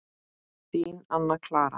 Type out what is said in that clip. Þín, Anna Clara.